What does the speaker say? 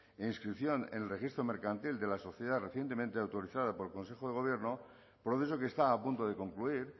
e inscripción en el registro mercantil de la sociedad recientemente autorizada por el consejo de gobierno proceso que está a punto de concluir